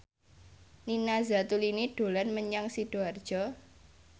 Nina Zatulini dolan menyang Sidoarjo